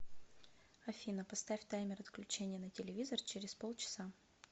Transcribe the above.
афина поставь таймер отключения на телевизор через полчаса